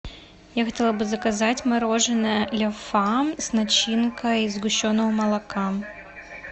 я хотела бы заказать мороженое ля фам с начинкой из сгущенного молока